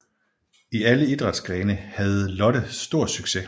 I alle idrætsgrene havde Lotte stor succes